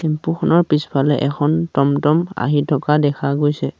Tempo খনৰ পিছফালে এখন টম টম আহি থকা দেখা গৈছে।